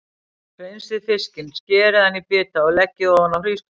Hreinsið fiskinn, skerið hann í bita og leggið ofan á hrísgrjónin.